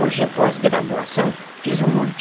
Hoje é pós-graduação, fiz um monte.